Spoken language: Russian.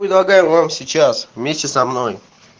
предлагаю вам сейчас вместе со мной